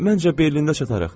Məncə Berlində çatarıq.